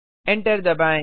enter दबाएँ